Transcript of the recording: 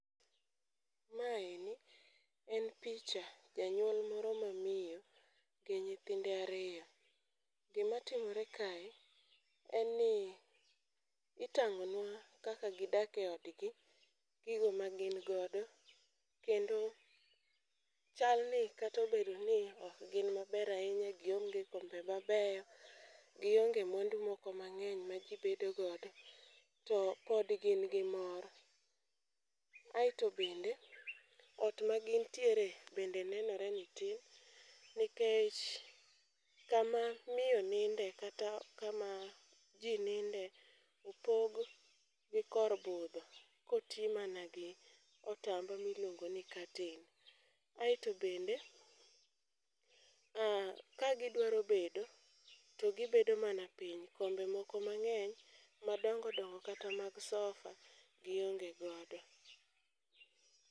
Maeni en picha janyuol moro ma miyo gi nyithinde ariyo. Gima timore kae en ni itang'o nwa kaka gidake odgi, gigo ma gin godo. Kendo chal ni katobedo ni okgin maber ahinya, gionge kombe mabeyo, gionge mwandu mang'eny ma ji bedo godo, to pod gin gi mor. Aeto bende ot ma gintiere bende nenore ni tin, nikech kama miyo nide kata kama ji ninde opog gi kor budho koti mana gi otamba miluongo ni katen. Aeto bende, a ka gidwa bedo to gibedo mana piny. Kombe moko mang'eny madongo dongo kata mag sofa gionge godo.